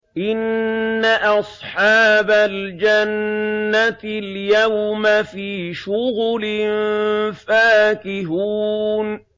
إِنَّ أَصْحَابَ الْجَنَّةِ الْيَوْمَ فِي شُغُلٍ فَاكِهُونَ